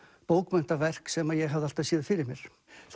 bókmenntaverk sem ég hafði alltaf séð fyrir mér